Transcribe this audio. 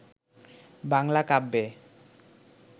বাংলা কাব্যে